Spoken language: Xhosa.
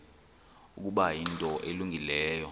ukuba yinto elungileyo